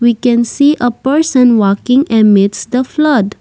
we can see a person walking amids the flood.